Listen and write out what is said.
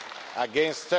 against